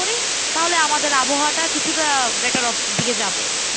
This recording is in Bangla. তাহলে আমাদের আবহাওয়াটা কিছুটা better দিকে যাবে।